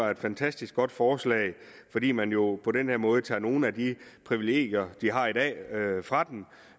et fantastisk godt forslag fordi man jo på den her måde tager nogle af de privilegier de har i dag fra dem